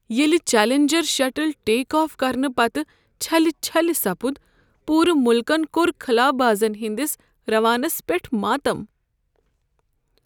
ییٚلہ Challenger shuttle take off کرنہٕ پتہٕ چھلہِ چھلہِ سپُد پوٗرٕ ملکن كور خلابازن ہنٛدس راونس پیٹھ ماتم۔